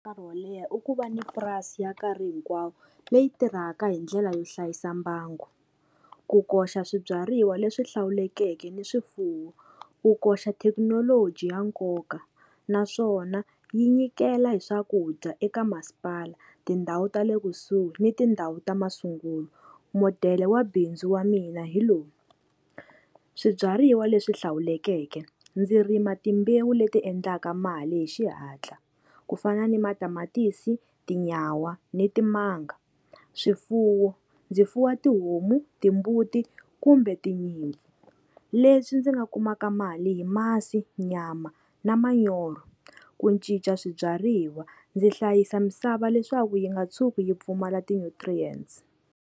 Nkarhi wo leha u ku va ni purasi ya nkarhi hinkwawo leyi tirhaka hi ndlela yo hlayisa mbangu. Ku koxa swibyariwa leswi hlawulekeke ni swifuwo. Ku koxa thekinoloji ya nkoka naswona yi nyikela hi swakudya eka masipala, tindhawu ta le kusuhi ni tindhawu ta masungulo. Modele wa bindzu wa mina hi lowu, swibyariwa leswi hlawulekeke ndzi rima timbewu leti endlaka mali hi xihatla, ku fana ni matamatisi, tinyawa ni timanga. Swifuwo ndzi fuwa tihomu, timbuti kumbe tinyimpfu leswi ndzi va kumaka mali hi masi nyama na manyoro. Ku cinca swibyariwa ndzi hlayisa misava leswaku yi nga tshuki yi pfumala ti-nutrients.